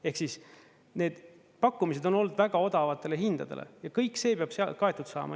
Ehk siis need pakkumised on olnud väga odavatele hindadele ja kõik see peab kaetud saama.